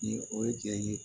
Ni o ye jɛ ye